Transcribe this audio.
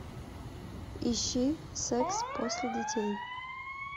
ищи секс после детей